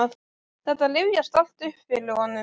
Þetta rifjast allt upp fyrir honum.